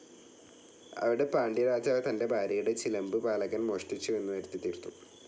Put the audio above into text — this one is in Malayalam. അവിടെ പാണ്ട്യരാജാവ് തൻ്റെ ഭാര്യയുടെ ചിലമ്പ് പാലകൻ മോഷ്ടിച്ചുവെന്നു വരുത്തിത്തീർത്തു.